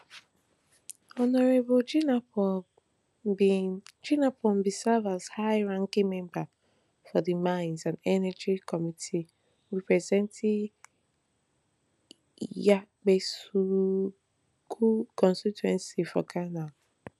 hon jinapor bin jinapor bin serve as high ranking member for di mines and energy committee representing yapeikusawgu constituency for ghana